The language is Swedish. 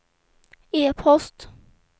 e-post